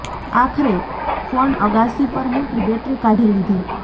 આખરે ફોન અગાસી પર મુકી બેટરી કાઢી લીધી